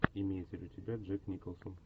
имеется ли у тебя джек николсон